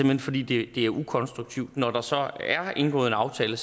hen fordi det er ukonstruktivt når der så er indgået en aftale